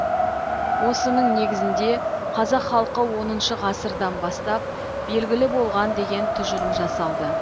осының негізінде қазақ халқы оныншы ғасырдан бастап белгілі болған деген тұжырым жасалды